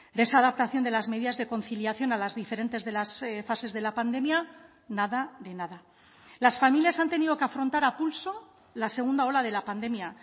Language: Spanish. de esa adaptación de las medidas de conciliación a las diferentes de las fases de la pandemia nada de nada las familias han tenido que afrontar a pulso la segunda ola de la pandemia